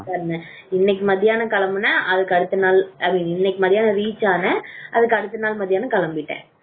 இன்னைக்கு மத்தியான கிளம்பின அதுக்கு அடுத்த நாள் இன்னைக்கு மத்தியானம் reach ஆனேன் அதுக்கு அடுத்த நாள் மதியானம் கிளம்பிட்டேன்.